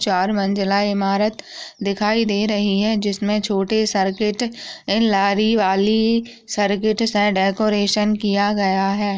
चार मंजिला इमारत दिखाई दे रही है जिसमें छोटे सर्किट लारी वाली सर्किट से डेकोरेशन किया गया है।